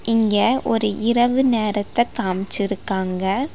இங்க ஒரு இரவு நேரத்த காம்ச்சிருக்காங்க.